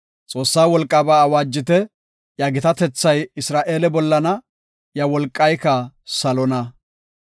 Xoossaa wolqaaba awaajite; iya gitatethay Isra7eele bollana; iya wolqayka salona.